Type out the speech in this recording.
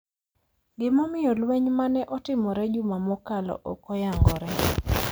Gimomiyo lweny ma ne otimore juma mokalo ok oyangore,